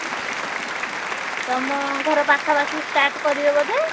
ତମ ଘର ପାଖାପାଖି start କରିବେ ବୋଧେ?